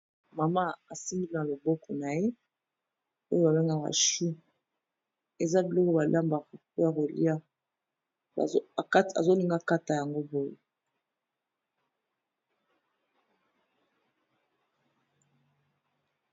Mama asimbi na loboko na ye oyo ba bengaka chou, eza biloko ba lambaka mpo ya kolia azo linga kata yango boye.